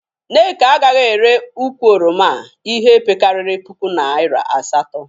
Nneka agaghị ere ukwu oroma a ihi pekarịrị puku naịra asatọ.